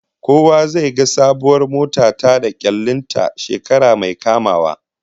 Kowa zai ga sabuwar mota ta da kyallin ta shekara mai kamawa